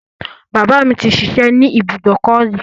Bàbá mi ti ṣiṣẹ́ ní ibùdòkọ́ rí.